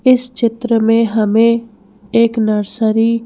इस चित्र में हमें एक नर्सरी --